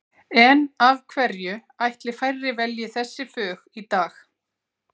En af hverju ætli færri velji þessi fög í dag?